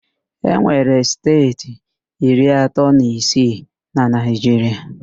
E nwere steeti iri atọ na isii na Naịjiria